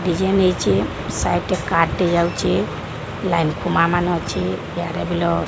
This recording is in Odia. ଡିଜାଇନ୍ ହେଇଛି ସାଇଟ ରେ ରେ କାର ଟେ ଯାଉଚି ।